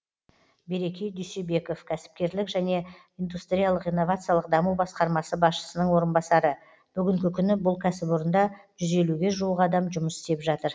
береке дүйсебеков кәсіпкерлік және индустриялық инновациялық даму басқармасы басшысының орынбасары бүгінгі күні бұл кәсіпорында жүз елуге жуық адам жұмыс істеп жатыр